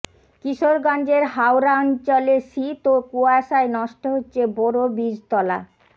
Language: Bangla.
কিশোরগঞ্জের হাওরাঞ্চলে শীত ও কুয়াশায় নষ্ট হচ্ছে বোরো বীজতলা